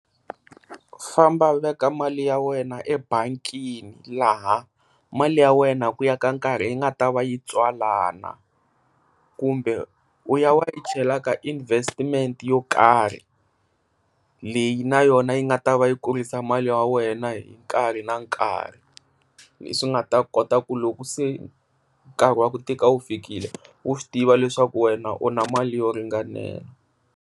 Famba u veka mali ya wena ebangini laha mali ya wena ku ya ka nkarhi i nga ta va yi tswalana, kumbe u ya u ya yi chela ka investment yo karhi leyi na yona yi nga ta i kurisa mali ya wena hi nkarhi na nkarhi leswi nga ta kota ku loko se nkarhi wa ku tika wu fikile u swi tiva leswaku wena u na mali yo ringanela.